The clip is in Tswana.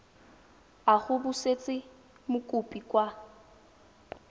a go busetsa mokopi kwa